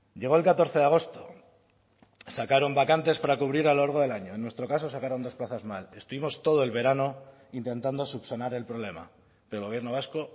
llegó el catorce de agosto sacaron vacantes para cubrir a lo largo del año en nuestro caso sacaron dos plazas más estuvimos todo el verano intentando subsanar el problema el gobierno vasco